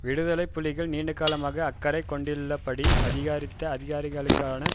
விடுதலை புலிகள் நீண்டகாலமாக அக்கறைகொண்டுள்ளபடி அதிகாரித்த அதிகாரங்களுடனான